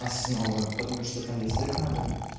основы потому что там язык надо